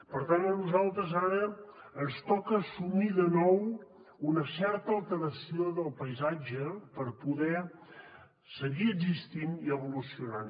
per tant a nosaltres ara ens toca assumir de nou una certa alteració del paisatge per poder seguir existint i evolucionant